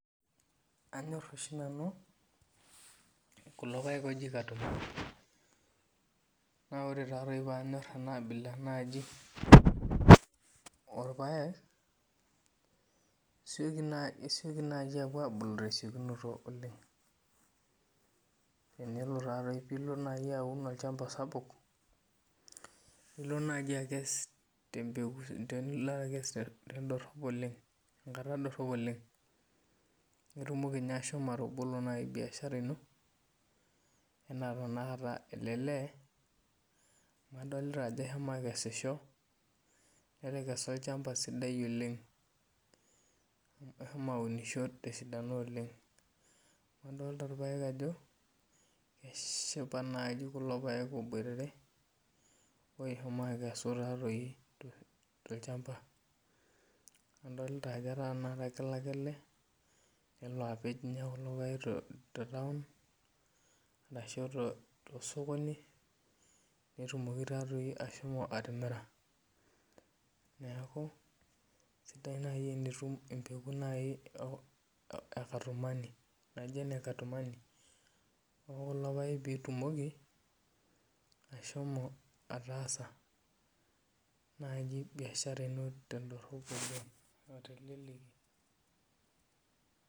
Anyor oshi nanu kulo paek oji katumani na ore panyor enaabila naji orpaek isioki nai apuo abulu tesiokinoto oleng tenilo aun olchamba sapuknilo naji akes tendorop enkata dorop oleng nitumoki nai ashomo atobolo biashara ino ana nai ele lee adolta ajo eshomo akesisho oleng ashomo aunisho terishata amu aldolta ajo eshipa nai kulo paek oleng oboitare oshomo akesu tolchambai adolta ajo ata kelo ake ele nelo apej kulo paek tetaun arahubtosokoni netumoki ashomo atimira neaku sidai nai tenitum empeku nijo ene katumani amu ore kulo paek pitumoki ashomo ataasa biashara ino teleki oleng.